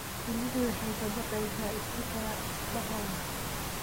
Shinnidu waxay ka baqaysaa istiikaradahooda.